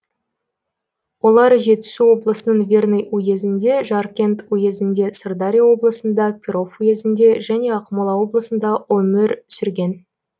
олар жетісу облысының верный уезінде жаркент уезінде сырдария облысында перов уезінде және ақмола облысында өмір сүрген